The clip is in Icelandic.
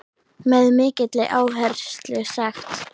Með mikilli áherslu sagt.